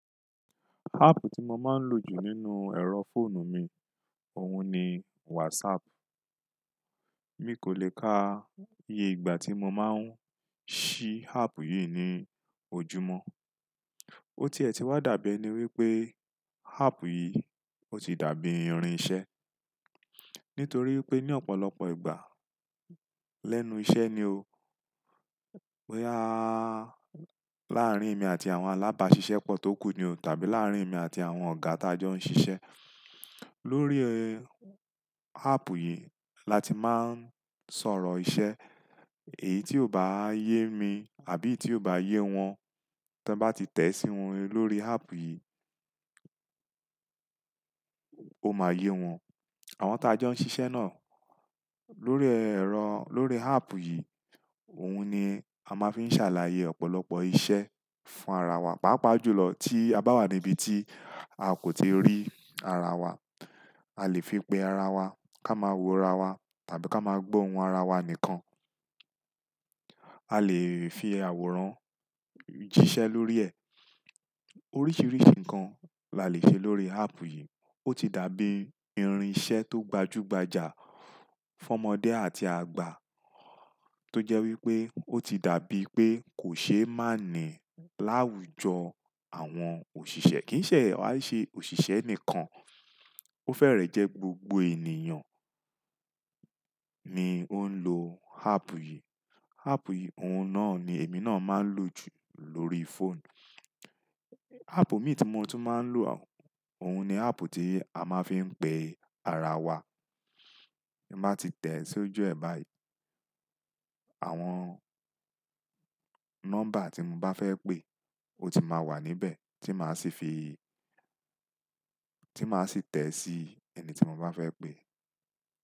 Áàpù tí mo máa ń lò jù nínú ẹ̀rọ fóònù mi, òun ni WhatsApp. Mi kò le ka iye ìgbà tí mo máa ń ṣí áàpù yìí ní ojúmọ́. Ó ti ẹ̀ ti wá dàbí ẹni wípé áàpù yìí ó ti dàbí irin iṣẹ́. Nítorí pé ní ọ̀pọ̀lọpọ̀ ìgbà, lẹ́nu iṣẹ́ ni o. Boya áá, láàrín èmi àti àwọn alábàáṣiṣẹ́ pọ́ tó kù ni o tàbí láàrín èmi àti àwọn ọ̀gá tí a jọ ń ṣiṣẹ́. Lórí, e, áàpù yìí la ti máa ń sọ̀rọ̀ iṣẹ́. Èyí tí ó bá yé mi àbí tí ó bá yé wọn, tí wọ́n bá ti tẹ̀ sí òun lórí áàpù yìí, ó máa yé wọn. Àwọn tí a jọ ń ṣiṣẹ́ náà, lórí ẹ̀rọ, lórí áàpù yìí, òun ni a máa fi ń ṣàlàyé ọ̀pọ̀lọpọ̀ iṣẹ́ fún ara wa. Pàápàá jùlọ tí a bá wà níbi tí a kò ti rí ara wa. A lè fi pe ara wa ká máa wo ara wa tàbí ká máa gbó ohùn ara wa nìkan. A lè fi àwòrán jíṣẹ́ lórí ẹ̀. Oríṣiríṣi nǹkan la lè ṣe lórí áàpù yìí. Ó ti dàbí irin iṣẹ́ tó gbajúgbajà fún ọmọdé àti àgbà. Tó jẹ́ wípé ó ti dàbí pé kò ṣe é má ní láwùjọ àwọn òṣìṣẹ́. Kì í ṣẹ wa ṣẹ òṣìṣẹ́ nìkan. Ó fẹ́rẹ̀ẹ́ jẹ́ gbogbo ènìyàn ni ó ń lo áàpù yìí. Áàpù yìí, òun náà ni èmi náà máa ń lò jù lórí fóònù. Áàpù mi tí mo tún máa ń lò, òun ni áàpù tí a máa fi ń pe ara wa. Bí mo bá ti tẹ̀ sí ojú ẹ̀ báyìí, àwọn nọ́mbà tí mo bá fẹ́ pè ó ti máa wà níbẹ̀ tí máa sì fi, tí máa sì tẹ̀ sí ẹni tí mo bá fẹ́ pè.